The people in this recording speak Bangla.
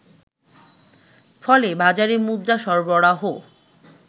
ফলে বাজারে মুদ্রা সরবরাহ